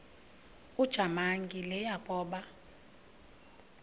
ujamangi le yakoba